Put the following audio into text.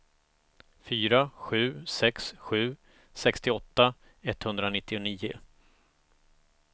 fyra sju sex sju sextioåtta etthundranittionio